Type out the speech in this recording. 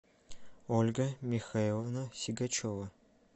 ольга михайловна сигачева